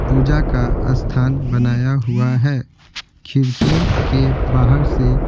पूजा का स्थान बनाया हुआ है खिड़कियों के बाहर से--